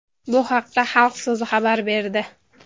Bu haqda Xalq so‘zi xabar berdi .